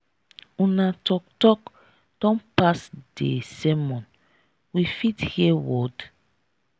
una talk talk don pass dey sermon we fit hear word.